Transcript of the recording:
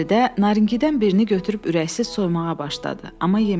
Fəridə naringidən birini götürüb ürəksiz soymağa başladı, amma yemədi.